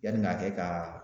Yanni ka kɛ ka